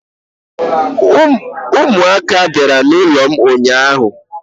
umuaka biara n'ulom unyanya